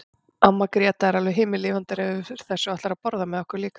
Amma Gréta er alveg himinlifandi yfir þessu og ætlar að borða með okkur líka.